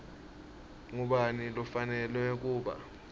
ngubani lofanelwe kuba